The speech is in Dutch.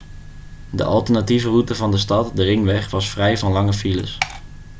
de alternatieve route van de stad de ringweg was vrij van lange files